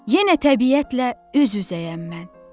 Yenə təbiətlə üz-üzəyəm mən.